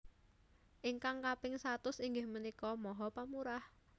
Ingkang kaping satus inggih menika maha pemurah